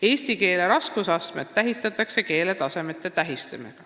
Eesti keele raskusastmed saavad keeletasemete tähised.